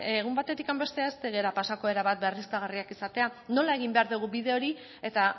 egun batetik bestera ez gara pasako erabat berriztagarriak izatera nola egin behar dugun bide hori eta